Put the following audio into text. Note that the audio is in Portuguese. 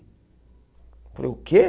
Eu falei, o quê?